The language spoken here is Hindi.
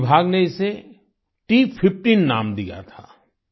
वन विभाग ने इसे T15 नाम दिया था